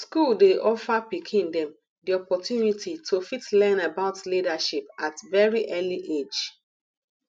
school dey offer pikin dem di opportunity to fit learn about leadership at very early age